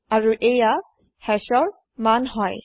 আৰু এইয়াই Hashৰ ভেল্যু হয়